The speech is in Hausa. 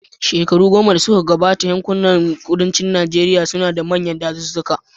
Shekaru goma da suka gabata, yankunan kudancin Najeriya suna da manyan dazuzzuka.